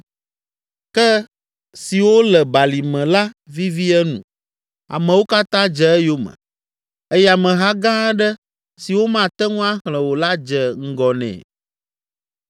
Ke siwo le balime la vivi enu, amewo katã dze eyome eye ameha gã aɖe si womate ŋu axlẽ o la dze ŋgɔ nɛ.